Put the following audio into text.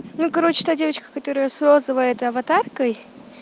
ну короче та девочка которая с розовой этой аватаркой